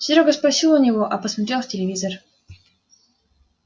серёга спросил у него а посмотрел в телевизор